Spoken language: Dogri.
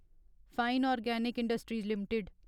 fine organic industries limited